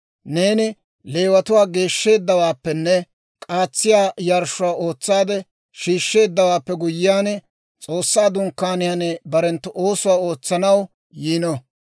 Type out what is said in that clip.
«Neeni Leewatuwaa geeshsheeddawaappenne k'aatsiyaa yarshshuwaa ootsaade shiishsheeddawaappe guyyiyaan, S'oossaa Dunkkaaniyaan barenttu oosuwaa ootsanaw yiino.